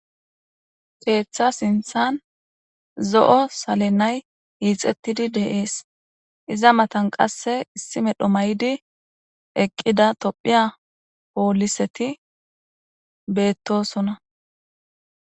Xeeththa sinthan zo'o salenay iixettidi deees iza matan qasse issi medho maydi eqqida tophiya pooliseti beettosona.